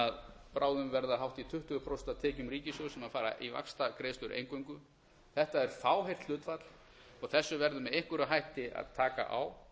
sem bráðum verða hátt í tuttugu prósent af tekjum ríkissjóðs sem fara í vaxtagreiðslur eingöngu þetta er fáheyrt hlutfall og þessu verður með einhverjum hætti að taka á